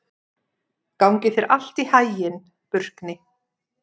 Gangi þér allt í haginn, Burkni.